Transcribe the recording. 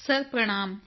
sir ਪ੍ਰਣਾਮ